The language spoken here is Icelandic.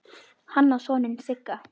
Hann á soninn Sigga.